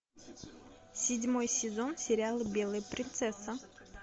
седьмой сезон сериала белая принцесса